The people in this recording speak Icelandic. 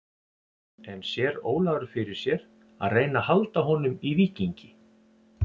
En sér Ólafur fyrir sér að reyna að halda honum í Víkingi?